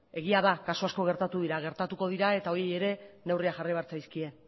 egia da kasu asko gertatu dira gertatuko dira eta horiei ere neurriak jarri behar zaizkie